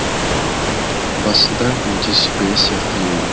басында өте сыпайы сияқты еді